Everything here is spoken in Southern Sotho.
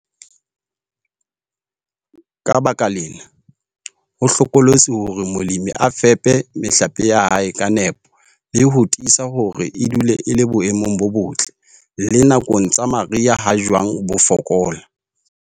Ka baka lena, ho hlokolosi hore molemi a fepe mehlape ya hae ka nepo le ho tiisa hore e dula e le boemong bo botle le nakong tsa mariha ha jwang bo fokola.